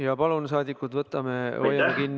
Ja rahvasaadikud, palun hoiame kinni ühe minuti reeglist!